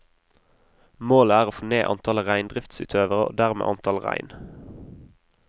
Målet er å få ned antallet reindriftsutøvere, og dermed antall rein.